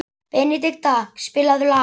Benedikta, spilaðu lag.